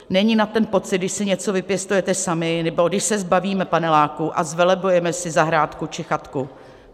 Není nad ten pocit, když si něco vypěstujeme sami nebo když se zbavíme paneláku a zvelebujeme si zahrádku či chatku.